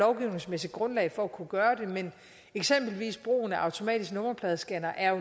lovgivningsmæssigt grundlag for at kunne gøre det men eksempelvis er brugen af automatiske nummerpladescannere